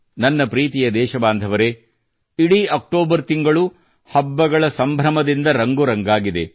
ನನ್ನ ಪ್ರೀತಿಯ ದೇಶಬಾಂಧವರೇ ಇಡೀ ಅಕ್ಟೋಬರ್ ತಿಂಗಳು ಹಬ್ಬಗಳ ಸಂಭ್ರಮದಿಂದ ರಂಗು ರಂಗಾಗಿದೆ